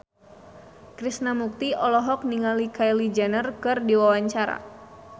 Krishna Mukti olohok ningali Kylie Jenner keur diwawancara